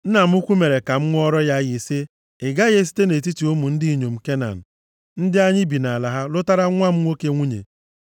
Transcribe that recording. Nna m ukwu mere ka m ṅụọra ya iyi sị, ‘Ị gaghị esite nʼetiti ụmụ ndị inyom Kenan ndị anyị bi nʼala ha lụtara nwa m nwoke nwunye.